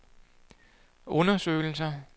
undersøgelser